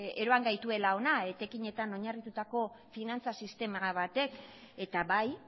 eroan gaituela ona etekinetan oinarritutako finantza sistema batek eta bai